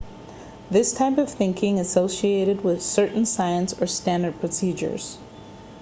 this type of thinking is associated with certain science or standard procedures